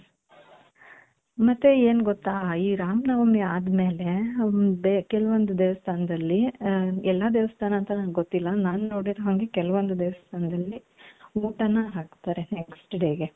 ಮತ್ತೆ ಏನ್ ಗೊತ್ತ ಈ ರಾಮನವಮಿ ಆದ್ಮೇಲೆ ಒಂದ್ ಕೆಲವೊಂದು ದೇವಸ್ಥಾನದಲ್ಲಿ ಎಲ್ಲಾ ದೇವಸ್ಥಾನ ಅಂತ ನoಗೊತ್ತಿಲ್ಲ ನಾನ್ ನೋಡಿದ ಹಂಗೆ ಕೆಲವೊಂದು ದೇವಸ್ಥಾನದಲ್ಲಿ ಊಟನು ಹಾಕ್ತಾರೆ next dayಗೆ .